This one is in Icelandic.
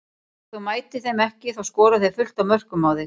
Ef þú mætir þeim ekki þá skora þeir fullt af mörkum á þig.